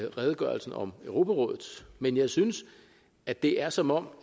redegørelsen om europarådet men jeg synes at det er som om